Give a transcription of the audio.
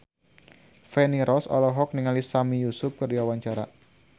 Feni Rose olohok ningali Sami Yusuf keur diwawancara